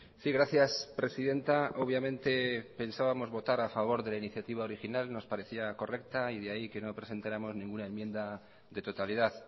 sí gracias presidenta obviamente pensábamos votar a favor de la iniciativa original nos parecía correcta y de ahí que no presentáramos ninguna enmienda de totalidad